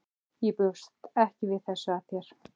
Ég bjóst ekki við þessu af þér.